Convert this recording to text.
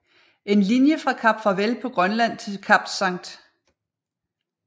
En linje fra Kap Farvel på Grønland til Kap St